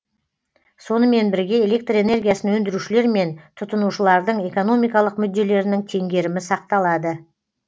сонымен бірге электр энергиясын өндірушілер мен тұтынушылардың экономикалық мүдделерінің теңгерімі сақталады